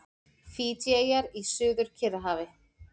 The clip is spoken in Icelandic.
Fídjieyjar í Suður-Kyrrahafi.